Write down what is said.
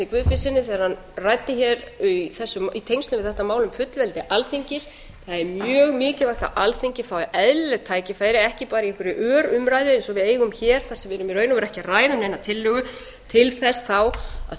guðfinnssyni þegar hann ræddi hér í tengslum við þetta mál um fullveldi alþingis það er mjög mikilvægt að alþingi fái eðlileg tækifæri ekki bara í einhverri örumræðu eins og við eigum hér þar sem við erum í raun og veru ekki að ræða um neina tillögu til þess þá að